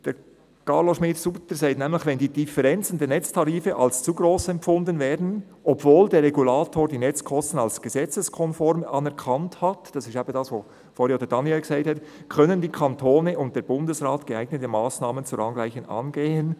Carlo Schmid-Sutter sagt nämlich: «Wenn die Differenzen der Netztarife als zu gross empfunden werden, obwohl der Regulator die Netzkosten als gesetzeskonform anerkannt hat,», das ist eben das, was vorhin auch Daniel Klauser gesagt hat, «können die Kantone und der Bundesrat geeignete Massnahmen zur Angleichung angehen.